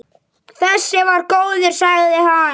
Þessi var góður, sagði hann.